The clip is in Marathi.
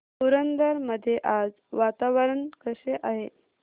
पुरंदर मध्ये आज वातावरण कसे आहे